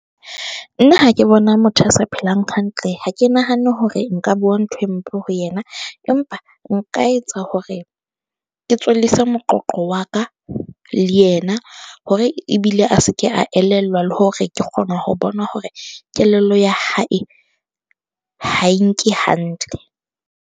Nna ha ke bona motho a sa phelang hantle. Ha ke nahane hore nka bua ntho e mpe ho yena, empa nka etsa hore ke tswellise moqoqo wa ka le yena hore ebile a se ke a elellwa le hore ke kgona ho bona hore kelello ya hae ha e nke hantle.